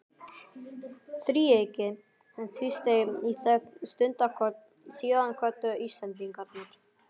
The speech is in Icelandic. Þríeykið tvísteig í þögn stundarkorn, síðan kvöddu Íslendingarnir.